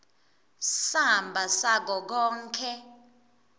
samba sako konkhe